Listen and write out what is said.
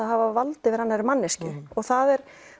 að hafa vald yfir annarri manneskju og það er